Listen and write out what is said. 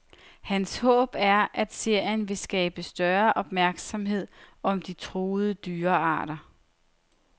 Hans håb er, at serien vil skabe større opmærksomhed om de truede dyrearter.